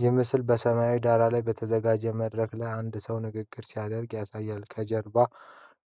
ይህ ምስል በሰማያዊ ዳራ ላይ በተዘጋጀ መድረክ ላይ አንድ ሰው ንግግር ሲያደርግ ያሳያል። ከጀርባው